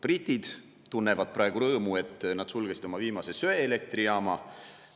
Britid tunnevad rõõmu, et nad sulgesid oma viimase söeelektrijaama.